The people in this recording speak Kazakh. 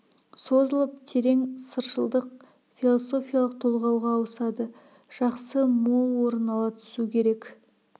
созылып терең сыршылдық философиялық толғауға ауысады жақсы мол орын ала түсу керек